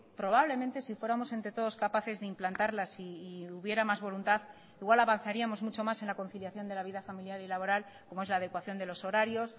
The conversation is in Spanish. probablemente si fuéramos entre todos capaces de implantarlas y hubiera más voluntad igual avanzaríamos mucho más en la conciliación de la vida familiar y laboral como es la adecuación de los horarios